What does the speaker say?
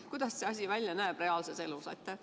Kuidas see asi reaalses elus välja näeb?